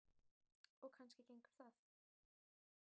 Og kannski gengur það.